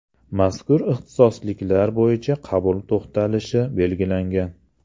Mazkur ixtisosliklar bo‘yicha qabul to‘xtalishi belgilangan.